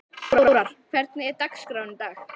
Þórar, hvernig er dagskráin í dag?